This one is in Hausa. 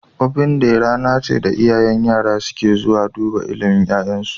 Ofen day rana ce da iyayen yara suke zuwa dubar ilimin ya'yansu